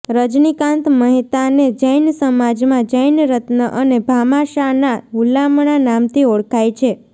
રજનીકાંત મહેતાને જૈન સમાજમાં જૈન રત્ન અને ભામાશાના હુલામણા નામથી ઓળખાય છે